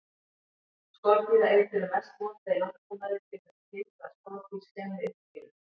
Skordýraeitur er mest notað í landbúnaði til þess að hindra að skordýr skemmi uppskeruna.